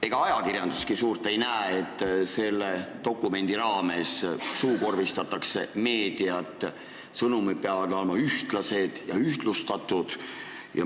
Ega ajakirjanduski suurt ei näe, et selle dokumendi raames suukorvistatakse meediat – sõnumid peavad olema ühtlustatud.